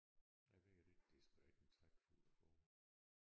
Jeg ved det ikke det er sgu da ikke en trækfugl rågen